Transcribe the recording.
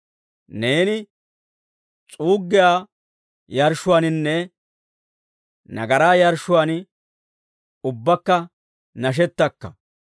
Neeni s'uuggiyaa yarshshuwaaninne, nagaraa yarshshuwaan ubbaakka nashetakka.